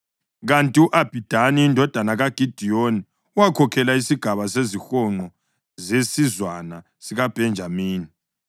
kanti u-Abhidani indodana kaGidiyoni wakhokhela isigaba sezihonqo zesizwana sikaBhenjamini.